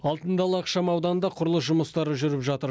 алтын дала ақшам ауданында құрылыс жұмыстары жүріп жатыр